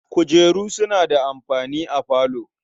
Kujeru suna da amfani a falo.